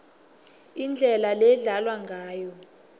indlela ledlalwa ngayo